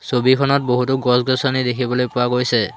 ছবিখনত বহুতো গছ-গছনি দেখিবলৈ পোৱা গৈছে।